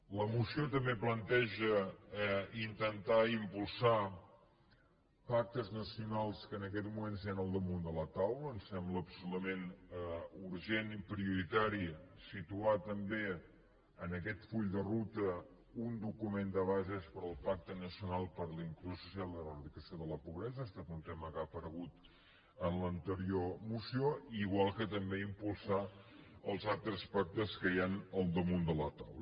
la moció també planteja intentar impulsar pactes nacionals que en aquests moments hi han al damunt de la taula ens sembla absolutament urgent i prioritari situar també en aquest full de ruta un document de bases per al pacte nacional per la inclusió social i l’eradicació de la pobresa ha estat un tema que ha aparegut en l’anterior moció igual que també impulsar els altres pactes que hi han al damunt de la taula